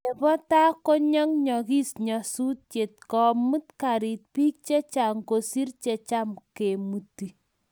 nebo tai konyayagis nyasusiet komuut karit biik chechang kosiir checham kemuti